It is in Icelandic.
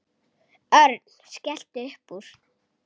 Örn skellti upp úr.